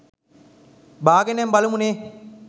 බාගෙනම බලමු නේ.